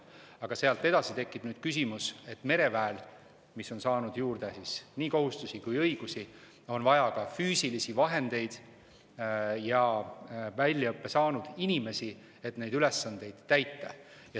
Aga sealt edasi tekib küsimus, et mereväel, mis on saanud juurde nii kohustusi kui ka õigusi, on vaja ka füüsilisi vahendeid ja väljaõppe saanud inimesi, et neid ülesandeid täita.